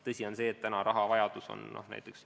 Tõsi on see, et rahavajadus on suur.